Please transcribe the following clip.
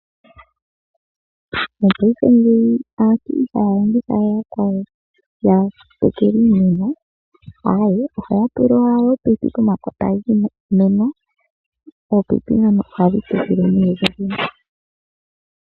Mopaife ngeyi aantu ihaya longitha we yakwawo ya tekele iimeno, aawe ohaya tula owala ominino pomakota giimeno, ominino dhono ohadhi tekele nee kehe ethimbo.